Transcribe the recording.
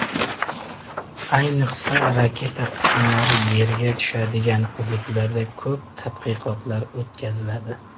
Ayniqsa, raketa qismlari yerga tushadigan hududlarda ko‘p tadqiqotlar o‘tkaziladi.